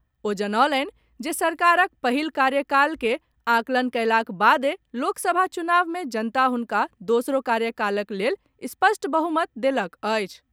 ओ जनौलनि जे सरकारक पहिल कार्यकालक आकलन कयलाक बादे लोकसभा चुनाव मे जनता हुनका दोसरो कार्यकालक लेल स्पष्ट बहुमत देलक अछि।